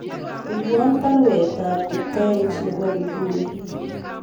Iborwon baruet ab Kipkoech nebo inguni